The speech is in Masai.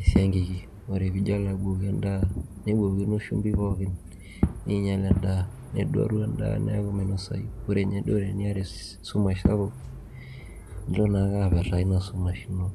e siangikiki neijo naa abukoki edaa nebukokino shumbi pookin neinyal edaa neduaru edaa neaku meinosayu ore inye duo teneiata esumash sapuk neilo naake apetaa ina sumash ino